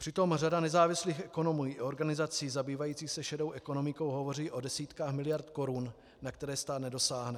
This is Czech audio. Přitom řada nezávislých ekonomů i organizací zabývajících se šedou ekonomikou hovoří o desítkách miliard korun, na které stát nedosáhne.